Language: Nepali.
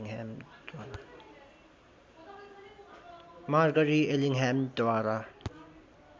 मार्गरी एलिङ्गहामद्वारा